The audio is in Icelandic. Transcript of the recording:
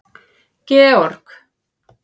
Georg